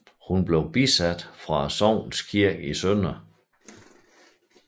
Hun blev bisat fra sognets kirke i Sdr